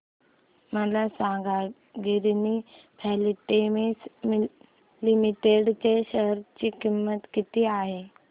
मला सांगा Ginni filaments limited च्या शेअर ची किंमत किती आहे